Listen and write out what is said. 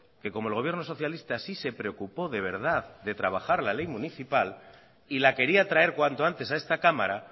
que como el gobierno socialista sí se preocupó de verdad de trabajar la ley municipal y la quería traer cuanto antes a esta cámara